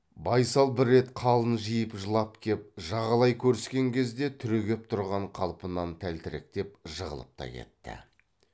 байсал бір рет қалын жиын жылап кеп жағалай көріскен кезде түрегеп тұрған қалпынан тәлтіректеп жығылып та кетті